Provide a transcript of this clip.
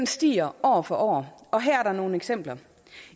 stiger år for år og her er der nogle eksempler